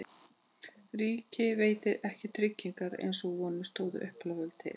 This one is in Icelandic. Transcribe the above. Ríkið veitir ekki tryggingar eins og vonir stóðu upphaflega til.